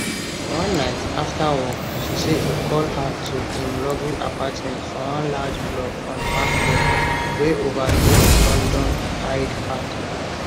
one night after work she say e call her to im luxury apartment for one large block on park lane wey overlook london hyde park